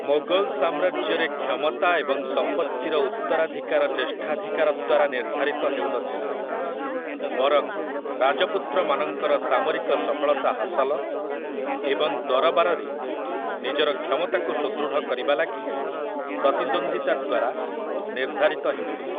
ମୋଗଲ ସାମ୍ରାଜ୍ୟରେ କ୍ଷମତା ଏବଂ ସମ୍ପତ୍ତିର ଉତ୍ତରାଧିକାର ଜ୍ୟେଷ୍ଠାଧିକାର ଦ୍ୱାରା ନିର୍ଦ୍ଧାରିତ ହେଉନଥିଲା, ବରଂ ରାଜପୁତ୍ରମାନଙ୍କର ସାମରିକ ସଫଳତା ହାସଲ ଏବଂ ଦରବାରରେ ନିଜର କ୍ଷମତାକୁ ସୁଦୃଢ଼ କରିବା ଲାଗି ପ୍ରତିଦ୍ୱନ୍ଦ୍ୱିତା ଦ୍ୱାରା ନିର୍ଦ୍ଧାରିତ ହେଉଥିଲା ।